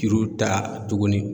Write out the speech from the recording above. Juru ta tugunni.